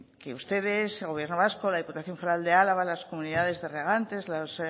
que ustedes gobierno vasco la diputación foral de álava las comunidades de regantes las